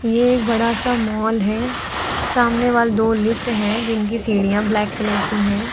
एक बड़ा सा माल है सामने वॉल दो लिफ्ट है जिनकी सीढ़ियां ब्लैक कलर की हैं।